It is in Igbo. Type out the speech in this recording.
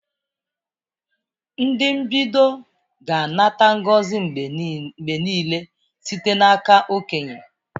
Ndị mbido ga-anata ngozi mgbe niile site n'aka okenye.